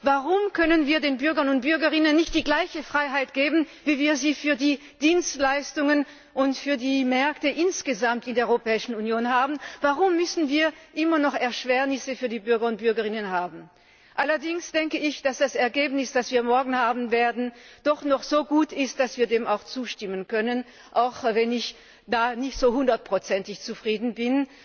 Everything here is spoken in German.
Warum können wir den Bürgern und Bürgerinnen nicht die gleiche Freiheit geben, wie wir sie für die Dienstleistungen und für die Märkte insgesamt in der Europäischen Union haben? Warum müssen wir immer noch Erschwernisse für die Bürger und Bürgerinnen haben? Allerdings denke ich, dass das Ergebnis, das wir morgen haben werden, doch noch so gut ist, dass wir dem auch zustimmen können, auch wenn ich damit nicht hundertprozentig zufrieden bin.